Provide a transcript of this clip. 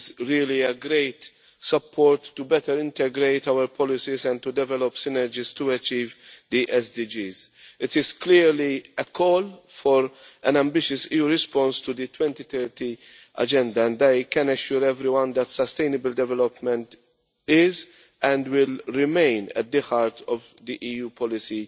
It is really a great support to better integrate our policies and to develop synergies to achieve the SDGs. It is clearly a call for an ambitious response to the 2030 Agenda and I can assure everyone that sustainable development is and will remain at the heart of EU policy